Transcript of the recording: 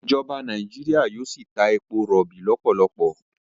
ìjọba Nàìjíríà yíò sí tá èpo irobi lopolopo.